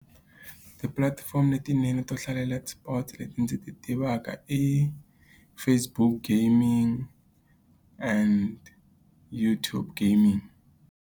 Tipulatifomo letinene to hlalela eSports leti ndzi ti tivaka i Facebook gaming and YouTube gaming.